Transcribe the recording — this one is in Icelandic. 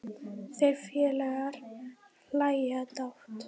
Þeir félagar hlæja dátt.